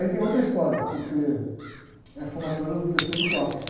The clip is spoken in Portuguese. Aí tem outra história, porque é a formatura do terceiro clássico.